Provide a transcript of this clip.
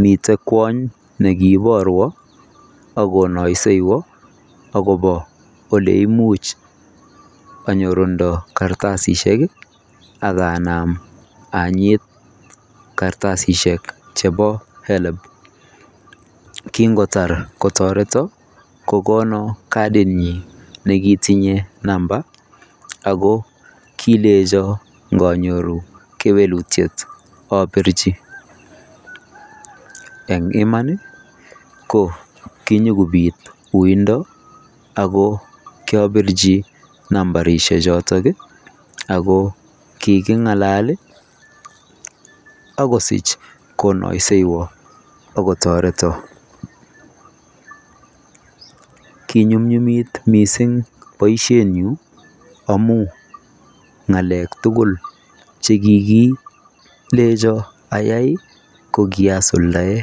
miten kwaany nikibarwaan ako naisewaan agobo oleimuich anyorundoo kartasisiek akanam anyiit kartasisiek chebo [HELB] kingotaar kotaretaan kogonaan katit nyiin ako kilejaan nganyoruu kewelutiet aborjii eng imaan kinyokobiit yundaa ako kiabirji nambarisheek chotoon ako kikingalal agosich konaisewaan ako taretaan kinyumnyum missing boisiet nyuun amuun ngalek tuguul che kikienjaan ayai ko kiasuldaen.